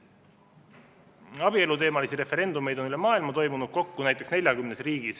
Abieluteemalisi referendumeid on üle maailma toimunud kokku 40 riigis.